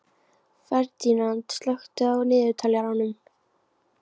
Ferdínand, slökktu á niðurteljaranum.